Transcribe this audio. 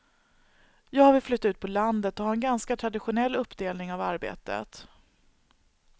Jag vill flytta ut på landet och ha en ganska traditionell uppdelning av arbetet.